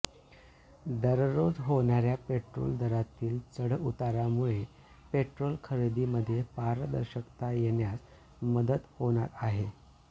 दररोज होणाऱया पोट्रोल दरातील चढउतारामुळे पेट्रोल खरेदीमध्ये पारदर्शकता येण्यास मदत होणार आहे